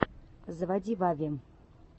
заводи вави